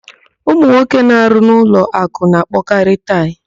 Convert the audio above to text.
Ụmụnwoke na-arụ n'ụlọakụ na-akpọkarị taị.